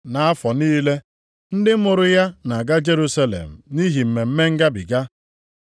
Nʼafọ niile, ndị mụrụ ya na-aga Jerusalem nʼihi Mmemme Ngabiga.